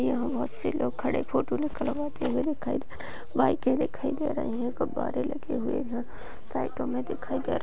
यहां बहोत से लोग खड़े फोटो निकलवाते हुए दिखाई दे रहे हैं। बाइकें दिखाई दे रही हैं। गुब्बारे लगे हुए हैं लाइटों में दिखाई दे रहे हैं।